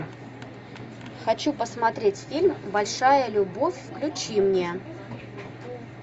хочу посмотреть фильм большая любовь включи мне